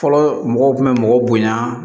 Fɔlɔ mɔgɔw kun bɛ mɔgɔw bonyan